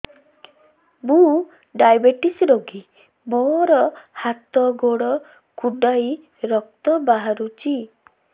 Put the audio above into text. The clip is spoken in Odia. ମୁ ଡାଏବେଟିସ ରୋଗୀ ମୋର ହାତ ଗୋଡ଼ କୁଣ୍ଡାଇ ରକ୍ତ ବାହାରୁଚି